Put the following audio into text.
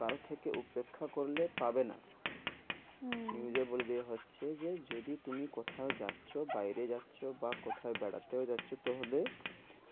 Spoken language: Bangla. কাল থেকে উপেক্ষা করলে পাবে না হ্যাঁ news এ বলে দেওয়া হচ্ছে যে যদি তুমি কোথাও যাচ্ছ বাইরে যাচ্ছো বা কোথাও বেড়াতেও যাচ্ছো তবে